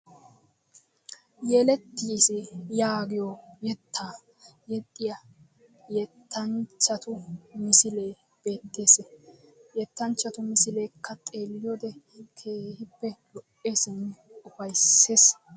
Yelettiis yaagiyo yettaa yexxiya yettanchchatu misilee beettees. Yettanchchatu misileekka xeelliyode keehippe lo''eesinne ufaysses.